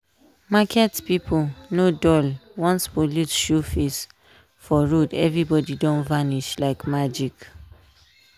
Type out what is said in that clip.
market people no dull once police show face for road everybody don vanish like magic.